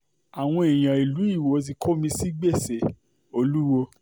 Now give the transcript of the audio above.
àwọn èèyàn ìlú iwọ ti kó mi sí gbèsè olúwo